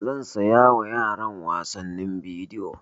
Zan saya wa yaran wasannin bidiyo